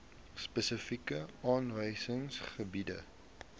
spesifiek aangewese gebiede